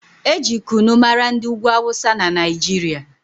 Eji kunu mara ndị ugwu awụsa na Naijiria